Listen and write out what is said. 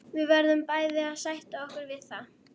Við verðum bæði að sætta okkur við það.